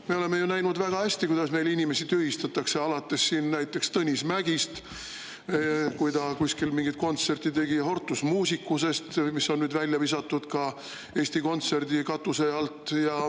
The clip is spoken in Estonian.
Me oleme ju näinud, kuidas meil inimesi tühistatakse, alates näiteks Tõnis Mägist, kui ta kuskil mingeid kontserte tegi, ja Hortus Musicusest, mis on nüüd välja visatud ka Eesti Kontserdi katuse alt.